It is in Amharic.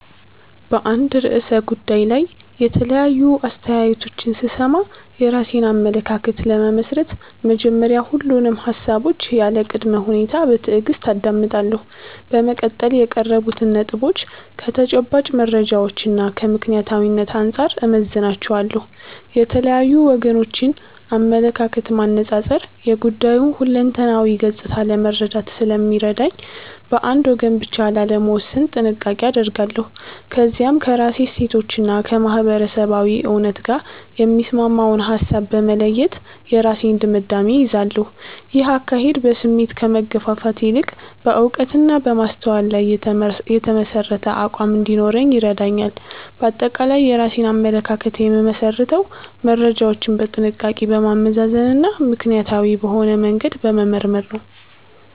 በአንድ ርዕሰ ጉዳይ ላይ የተለያዩ አስተያየቶችን ስሰማ፣ የራሴን አመለካከት ለመመስረት በመጀመሪያ ሁሉንም ሃሳቦች ያለ ቅድመ ሁኔታ በትዕግስት አዳምጣለሁ። በመቀጠል የቀረቡትን ነጥቦች ከተጨባጭ መረጃዎችና ከምክንያታዊነት አንጻር እመዝናቸዋለሁ። የተለያዩ ወገኖችን አመለካከት ማነጻጸር የጉዳዩን ሁለንተናዊ ገጽታ ለመረዳት ስለሚረዳኝ፣ በአንድ ወገን ብቻ ላለመወሰን ጥንቃቄ አደርጋለሁ። ከዚያም ከራሴ እሴቶችና ከማህበረሰባዊ እውነት ጋር የሚስማማውን ሃሳብ በመለየት የራሴን ድምዳሜ እይዛለሁ። ይህ አካሄድ በስሜት ከመገፋፋት ይልቅ በዕውቀትና በማስተዋል ላይ የተመሠረተ አቋም እንዲኖረኝ ይረዳኛል። ባጠቃላይ የራሴን አመለካከት የምመሰርተው መረጃዎችን በጥንቃቄ በማመዛዘንና ምክንያታዊ በሆነ መንገድ በመመርመር ነው።